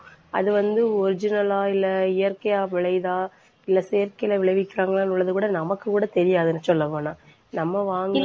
அது வந்து original ஆ இல்லை இயற்கையா விளையுதா இல்ல செயற்கையில விளைவிக்கிறாங்களான்றதை கூட நமக்கு கூட தெரியாதுன்னு சொல்ல போனா. நம்ம வாங்கி